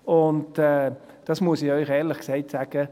Und, das muss ich Ihnen ehrlich sagen: